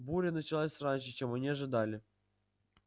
буря началась раньше чем они ожидали